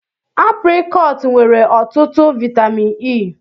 Aprịkọọt nwere ọtụtụ vaịtamịn E.